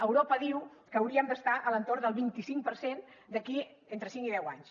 europa diu que hauríem d’estar a l’entorn del vint cinc per cent d’aquí a entre cinc i deu anys